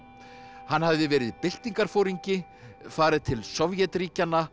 hann hafði verið byltingarforingi farið til Sovétríkjanna